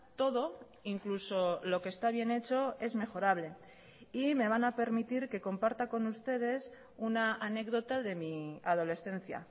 todo incluso lo que está bien hecho es mejorable y me van a permitir que comparta con ustedes una anécdota de mi adolescencia